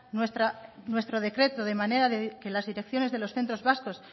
nuestro decreto de manera que las direcciones de los centros vascos